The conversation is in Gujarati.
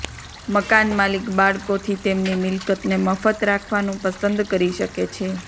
મકાનમાલિક બાળકોથી તેમની મિલકતને મફત રાખવાનું પસંદ કરી શકે છે